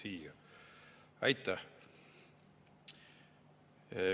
Aitäh!